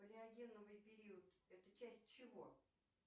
палеогеновый период это часть чего